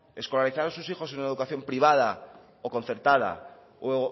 escolarizar a sus hijos en una educación privada o concertada o